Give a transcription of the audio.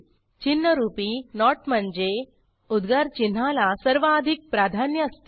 चिन्हरूपी note म्हणजे उद्गारचिन्हाला सर्वाधिक प्राधान्य असते